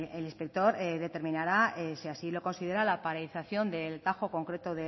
el inspector determinará si así lo considera la paralización del concreto